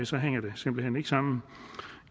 så hænger det simpelt hen ikke sammen